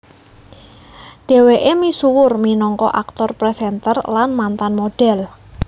Dhweke misuwur minangka aktor presenter lan mantan modhel